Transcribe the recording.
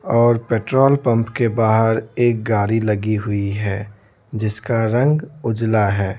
और petrol pump के बाहर एक गाड़ी लगी हुई है जिसका रंग उजला है।